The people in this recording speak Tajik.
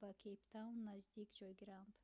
ба кейп таун наздик ҷойгиранд